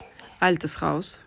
альтес хаус